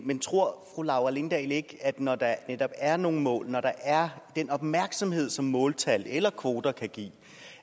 men tror fru laura lindahl ikke at man når der netop er nogle mål og når der er den opmærksomhed som måltal eller kvoter kan give